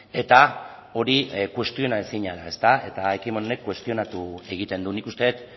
eta hori kuestiona ezina da eta ekimen honek kuestionatu egiten du nik uste dut